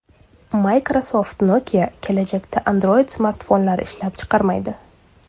Microsoft-Nokia kelajakda Android-smartfonlar ishlab chiqarmaydi.